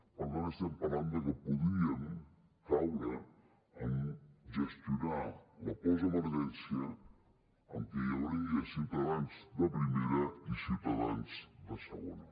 per tant estem parlant de que podríem caure en gestionar la postemergència en què hi hauria ciutadans de primera i ciutadans de segona